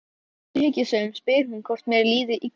klippingin fór með drengslegt útlit hennar alveg upp að lesbíu